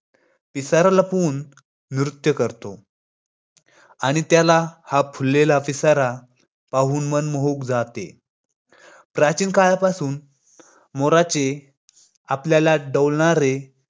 अशा प्रतिकूल परिस्थितीत राजमाता जिजाऊ यांनी दादोजी कोंडदेव यांच्या समावेत पुण्य पुणे शहरात